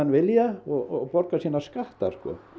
vilja og borga sína skatta